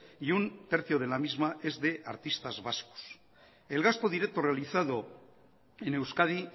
y un tercio de la misma es de artistas vascos el gasto directo realizado en euskadi